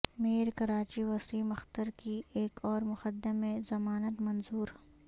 mayor Karachi Waseem Akhtar کی ایک اور مقدمے میں ضمانت منظور